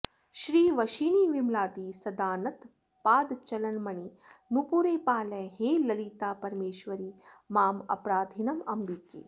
श्रीवशिनी विमलादि सदानत पादचलन्मणि नूपुरे पालय हे ललितापरमेश्वरि मामपराधिनमम्बिके